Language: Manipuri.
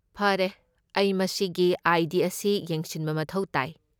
ꯐꯔꯦ, ꯑꯩ ꯃꯁꯤꯒꯤ ꯑꯥꯏ.ꯗꯤ. ꯑꯁꯤ ꯌꯦꯡꯁꯤꯟꯕ ꯃꯊꯧ ꯇꯥꯏ꯫